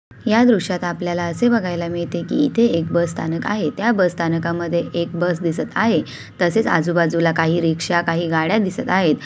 या दृध्यात आपल्याला असे बघायला मिळते की इथे एक बस स्थानक आहे त्या बस स्थानकामध्ये एक बस दिसत आहे तसेच आजूबाजूला काही रिक्शा काही गाड्या दिसत आहेत.